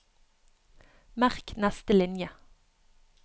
Merk neste linje